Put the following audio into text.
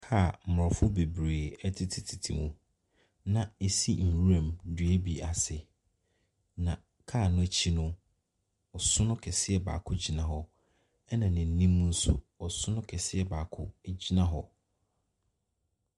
Kaa a mmɔfo bebree tetetete mu, na ɛsi nwura mu, dua bi ase, na kaa no akyi no, ɔsono kɛseɛ baako gyina hɔ, ɛnna n'anim no nso, ɔsono kɛseɛ baako gyina hɔ.